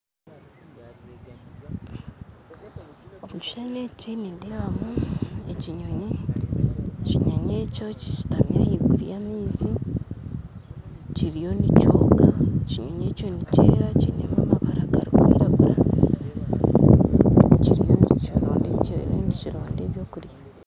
Omukishishani eki nindeebamu ekinyonyi, ekinyonyi ekyo kishitami ahaiguru ya amaizi kiriyo nikyooga ekinyonyi ekyo nikyera kiinemu amabara garikwiragura kiriyo nikironda ebyokurya.